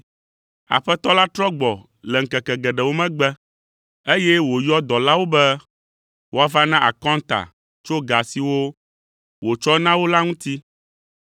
“Aƒetɔ la trɔ gbɔ le ŋkeke geɖewo megbe, eye wòyɔ dɔlawo be woava na akɔnta tso ga siwo wòtsɔ na wo la ŋuti.